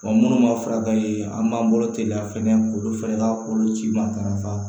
Ɔ munnu ma furakɛ ye an m'an bolo teliya fɛnɛ olu fɛnɛ ka k'olu ci matarafa